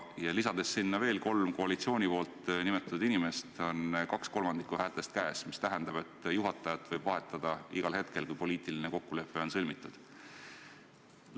Ja lisades sinna veel kolm koalitsiooni nimetatud inimest, on 2/3 häältest käes, mis tähendab, et juhatajat võib vahetada igal hetkel, kui poliitiline kokkulepe on sõlmitud.